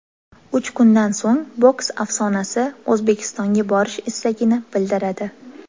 Uch kundan so‘ng boks afsonasi O‘zbekistonga borish istagini bildiradi.